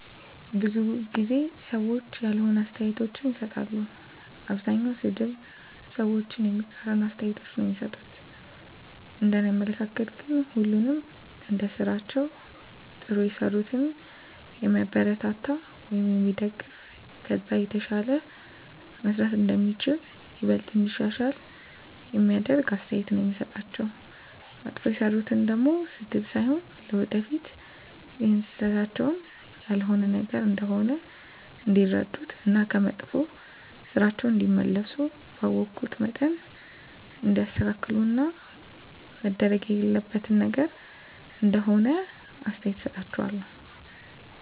ብዙ ጊዜ ሰዎች ያልሆነ አስተያየቶችን ይሰጣሉ። አብዛኛዉ ሰድብ፣ ሰዎችን የሚቃረን አስተያየቶች ነዉ እሚሰጡት፤ እንደኔ አመለካከት ግን ሁሉንም እንደስራቸዉ ጥሩ የሰሩትን የሚያበረታታ ወይም የሚደገፍ ከዛ የተሻለ መስራት እንደሚቻል፣ ይበልጥኑ እንዲያሻሽሉ የሚደግፍ አስተያየት ነዉ የምሰጣቸዉ፣ መጥፎ የሰሩትን ደሞ ስድብ ሳይሆን ለወደፊት ይሀን ስህተታቸዉን ያልሆነ ነገር እንደሆነ እንዲረዱት እና ከመጥፋ ስራቸዉ እንዲመለሱ ባወኩት መጠን እንዲያስተካክሉት እና መደረግ የሌለበት ነገር እንደሆነ አስተያየት እሰጣቸዋለሁ።